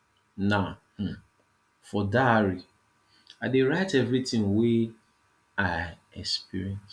na um for diary i dey write everytin wey i experience